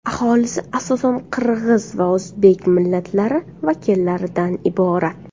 Aholisi asosan qirg‘iz va o‘zbek millatlari vakillaridan iborat.